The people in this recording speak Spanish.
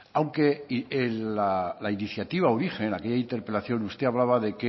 aunque la iniciativa origen en aquella interpelación usted hablaba de